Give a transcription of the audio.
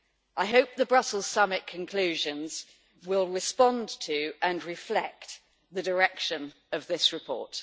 I hope the Brussels summit conclusions will respond to and reflect the direction of this report.